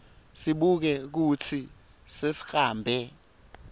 sibuke kutsi sesihambe